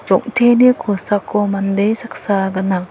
rong·teni kosako mande saksa gnang.